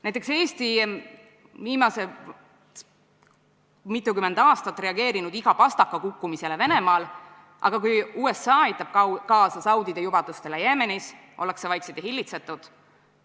Näiteks Eesti on viimased mitukümmend aastat reageerinud igale pastaka kukkumisele Venemaal, aga kui USA aitab kaasa saudide jubedustele Jeemenis, ollakse vaiksed ja hillitsetud.